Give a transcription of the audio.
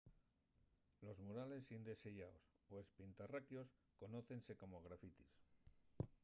los murales indeseyaos o espintarraquios conócense como grafitis